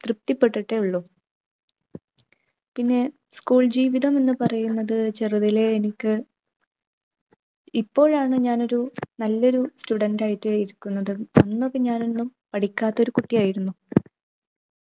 തൃപ്തിപ്പെട്ടിട്ടേയുള്ളു. പിന്നെ school ജീവിതം എന്ന് പറയുന്നത് ചെറുതിലെ എനിക്ക് ഇപ്പോഴാണ് ഞാനൊരു നല്ലൊരു student ആയിട്ട് ഇരിക്കുന്നത്. അന്നൊക്കെ ഞാനൊന്നും പഠിക്കാത്തൊരു കുട്ടിയായിരുന്നു.